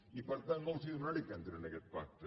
i per tant no els dema·naré que entrin en aquest pacte